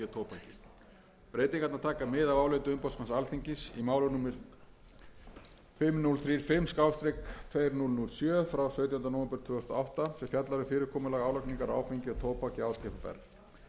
og tóbak breytingarnar taka mið af áliti umboðsmanns alþingis í máli númer fimm þúsund þrjátíu og fimm tvö þúsund og sjö frá sautjándu nóvember tvö þúsund og átta sem fjallar um fyrirkomulag álagningar á áfengi og tóbak hjá átvr niðurstaða